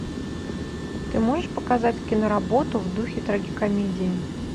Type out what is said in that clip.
ты можешь показать киноработу в духе трагикомедии